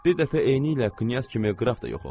Bir dəfə eynilə Knyaz kimi Qraf da yox oldu.